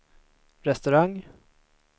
restaurang